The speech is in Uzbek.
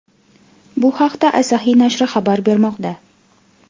Bu haqda Asahi nashri xabar bermoqda .